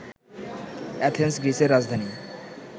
Athens গ্রীসের রাজধানী